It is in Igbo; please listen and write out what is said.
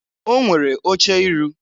O nwere oche iru.